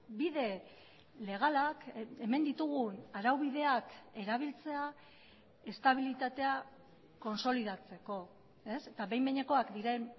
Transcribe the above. bide legalak hemen ditugun araubideak erabiltzea estabilitatea kontsolidatzeko eta behin behinekoak diren